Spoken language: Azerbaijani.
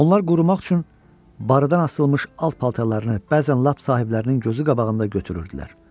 Onlar qurumaq üçün barıdan asılmış alt paltarlarını bəzən lap sahiblərinin gözü qabağında götürürdülər.